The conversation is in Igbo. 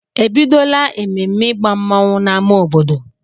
E bidola ememme ịgba mmanwụ n'amá obodo?